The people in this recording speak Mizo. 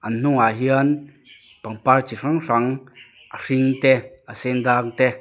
an hnungah hian pangpar chi hrang hrang a hring te a sen dang te --